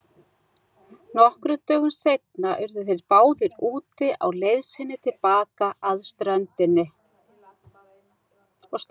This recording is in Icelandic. Nokkrum dögum seinna urðu þeir báðir úti á leið sinni til baka að ströndinni.